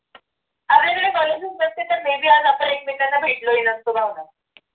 आपल्याकडे college च नसते तर may be आज आपण एकमेकांना भेटलो हि नसतो भावना